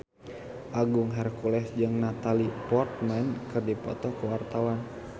Agung Hercules jeung Natalie Portman keur dipoto ku wartawan